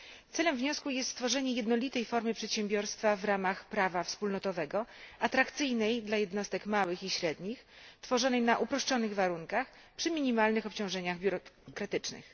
Celem wniosku jest stworzenie jednolitej formy przedsiębiorstwa w ramach prawa wspólnotowego, atrakcyjnej dla jednostek małych i średnich, tworzonej na uproszczonych warunkach, przy minimalnych obciążeniach biurokratycznych.